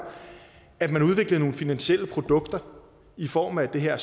at man udviklede nogle finansielle produkter i form af de her